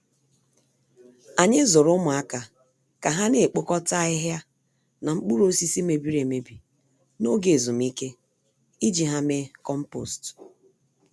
Anyị zụrụ ụmụaka ka ha naekpokọta ahịhịa na mkpụrụ osisi mebiri-emebi n'oge ezumike, iji ha mee kompost